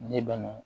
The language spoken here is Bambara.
Ne banna